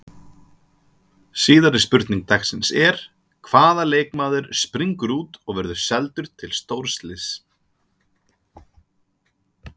Síðari spurning dagsins er: Hvaða leikmaður springur út og verður seldur til stórliðs?